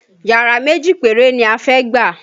Yàrá méjì péré ni a fẹ́ gbà